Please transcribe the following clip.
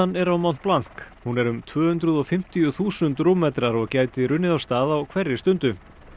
er á mont hún er um tvö hundruð og fimmtíu þúsund rúmmetrar og gæti runnið af stað á hverri stundu